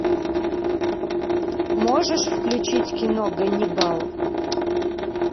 можешь включить кино ганнибал